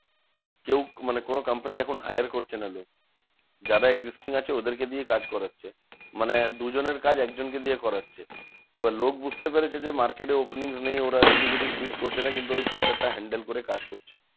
কেউ মানে কোনো কোম্পানি এখন hire করছে না লোক। যারা existing আছে ওদেরকে কে দিয়ে কাজ করাচ্ছে। মানে দুজনের কাজ একজন কে দিয়ে করাচ্ছে। এবার লোক বুঝতে পেরেছে যে, market এ openings নেই ওরা এদিক ওদিক switch করছে না। কিন্তু ওই pressure টা handle করে কাজ করছে।